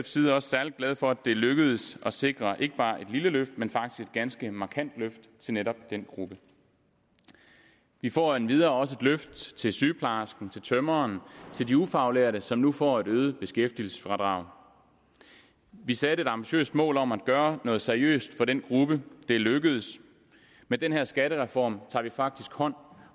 side også særlig glade for at det er lykkedes at sikre ikke bare et lille løft men faktisk et ganske markant løft til netop den gruppe vi får endvidere også et løft til sygeplejersken til tømreren til de ufaglærte som nu får et øget beskæftigelsesfradrag vi satte et ambitiøst mål om at gøre noget seriøst for den gruppe og det er lykkedes med den her skattereform tager vi faktisk hånd